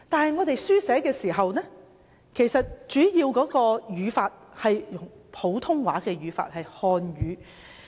不過，大家書寫時其實主要跟隨普通話的語法。